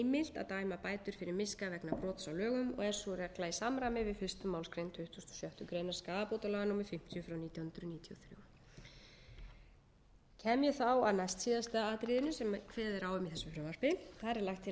að dæma bætur fyrir miska vegna brots á lögum og er sú regla í samræmi við fyrstu málsgrein tuttugustu og sjöttu greinar skaðabótalaga númer fimmtíu nítján hundruð níutíu og þrjú kem ég þá að næstsíðasta atriðinu sem kveðið er á um í þessu frumvarpi þar er lagt til að